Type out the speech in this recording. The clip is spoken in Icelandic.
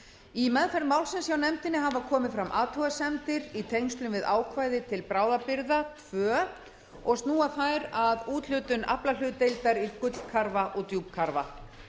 í meðferð málsins hjá nefndinni hafa komið fram athugasemdir í tengslum við ákvæði til bráðabirgða tvö og snúa þær að úthlutun aflahlutdeildar í gullkarfa að djúpkarfa